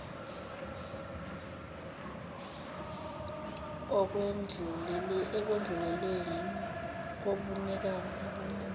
ekwedluleleni kobunikazi bomuzi